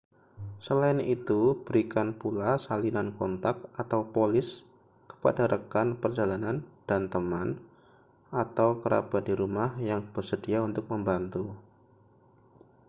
selain itu berikan pula salinan kontak/polis kepada rekan perjalanan dan teman atau kerabat di rumah yang bersedia untuk membantu